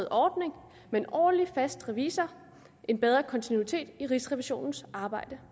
ordning med en årlig fast revisor en bedre kontinuitet i rigsrevisionens arbejde